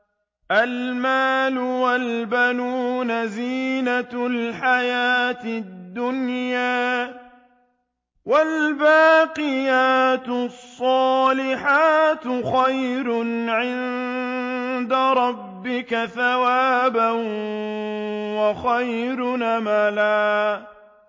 الْمَالُ وَالْبَنُونَ زِينَةُ الْحَيَاةِ الدُّنْيَا ۖ وَالْبَاقِيَاتُ الصَّالِحَاتُ خَيْرٌ عِندَ رَبِّكَ ثَوَابًا وَخَيْرٌ أَمَلًا